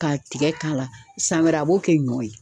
Ka tigɛ k'a la, san wɛrɛ ,a b'o kɛ ɲɔ ye.